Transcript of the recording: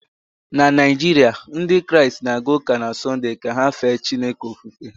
na Naijiria, Ndị Kraịst na-aga ụka na Sọnde ka ha fee Chineke ofufe